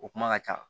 O kuma ka ca